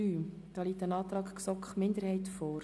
Hier liegt ein Antrag der GSoK-Minderheit vor.